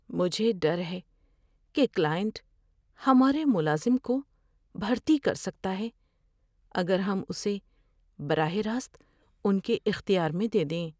مجھے ڈر ہے کہ کلائنٹ ہمارے ملازم کو بھرتی کر سکتا ہے اگر ہم اسے براہ راست ان کے اختیار میں دے دیں۔